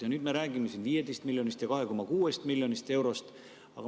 Ja nüüd me räägime siin 15 miljonist ja 2,6 miljonist eurost.